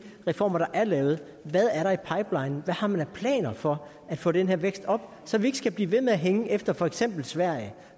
reformer der er lavet hvad er der i pipelinen hvad har man af planer for at få den her vækst op så vi ikke skal blive ved med at hænge efter for eksempel sverige